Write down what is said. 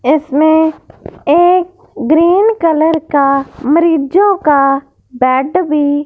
इसमें एक green colour का मरीजो का बेड भी--